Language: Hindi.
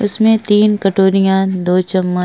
इसमें तीन कटोरिया दो चम्म --